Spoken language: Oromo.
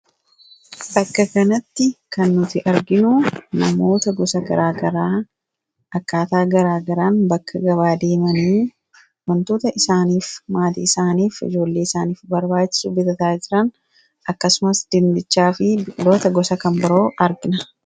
Bakka kanatti kan nuti arginu namoota gosa garaa garaa akkaataa garaa garaan bakka gabaa deemanii waantota isaaniif maatii isaaniif ijoollee isaaniif barbaachisu bitataa jiran akkasumas dinnichaa fi biqiloota gosa kan biroo argina.